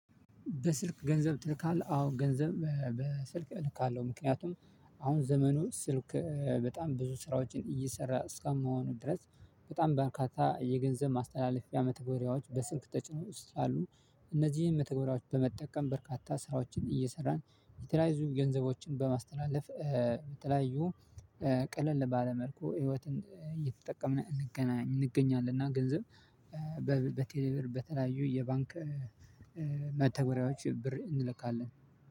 በስልክ ገንዘብ ትልካለህ? አዎ ገንዘብ በስልክ እልካለሁ። ምክንያቱም አሁን ዘመኑ ስልክ በጣም ብዙ ስራዎችን እየሰራ እስከማሆኑ ድረስ በጣም በርካታ የገንዘብ ማስተላለፊያ መተግበሪያዎች በስልክ ተጭኖ ውስጥ አሉ። እነዚህን መተግበሪያዎች በመጠቀም በርካታ ስራዎችን እየሰራን የተለያዙ ገንዘቦችን በማስተላለፍ በተለያዩ ቀለል ባለመልኩ ህይወትን እየተጠቀምን እንገኛለን። እና ገንዘብ በቴሌብር በተለያዩ የባንክ መተገሪያዎች ብር እንልካለን።